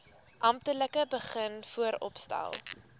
amptelik begin vooropstel